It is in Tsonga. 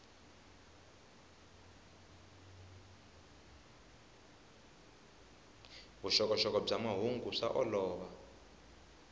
vuxokoxoko bya mahungu swa olova